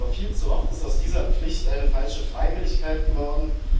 Doch viel zu oft ist aus dieser Pflicht eine falsche Freiwilligkeit geworden.